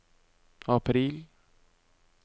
april